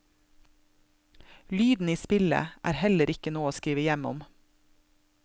Lyden i spillet er heller ikke noe å skrive hjem om.